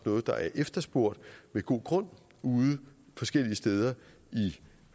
noget der er efterspurgt med god grund ude forskellige steder i